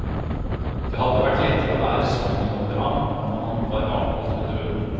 Det hadde vært lettere å bære sorgen over ham om han var avgått ved døden.